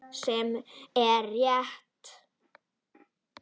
Sem er rétt.